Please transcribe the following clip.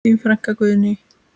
Þín frænka Guðný.